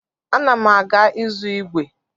Ana m aga ịzụ ígwè.